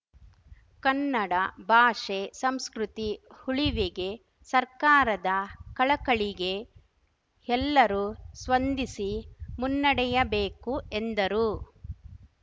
ಕನ್ನಡ ಭಾಷೆ ಸಂಸ್ಕೃತಿ ಉಳಿವಿಗೆ ಸರ್ಕಾರದ ಕಳಕಳಿಗೆ ಎಲ್ಲರೂ ಸ್ಪಂದಿಸಿ ಮುನ್ನಡೆಯಬೇಕು ಎಂದರು